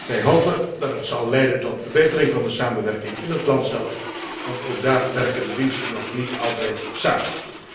Wij hopen dat het zal leiden tot verbetering van de samenwerking in het land zelf, want ook daar werken de diensten nog niet altijd samen.